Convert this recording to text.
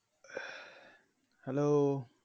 Hello